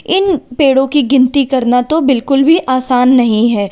इन पेड़ों की गिनती करना बिल्कुल भी आसान नहीं है।